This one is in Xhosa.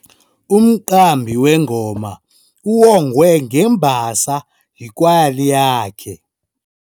Umqambi wengoma uwongwe ngembasa yikwayala yakhe.